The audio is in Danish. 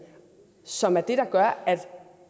som er det der gør at